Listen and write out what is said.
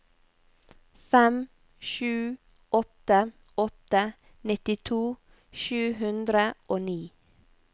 fem sju åtte åtte nittito sju hundre og ni